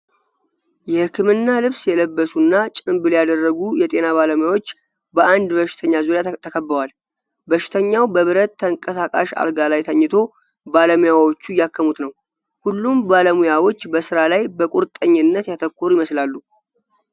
የህክምና ልብስ የለበሱና ጭንብል ያደረጉ የጤና ባለሙያዎች በአንድ በሽተኛ ዙሪያ ተከበዋል። በሽተኛው በብረት ተንቀሳቃሽ አልጋ ላይ ተኝቶ፣ ባለሙያዎቹ እያከሙት ነው። ሁሉም ባለሙያዎች በስራ ላይ በቁርጠኝነት ያተኮሩ ይመስላል።